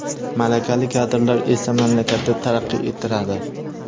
Malakali kadrlar esa mamlakatni taraqqiy ettiradi.